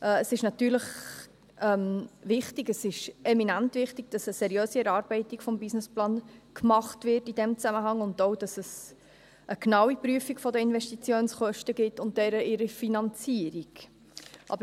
Es ist natürlich wichtig, es ist eminent wichtig, dass in diesem Zusammenhang eine seriöse Erarbeitung des Businessplans gemacht wird, und auch, dass es eine genaue Prüfung der Investitionskosten und deren Finanzierung gibt.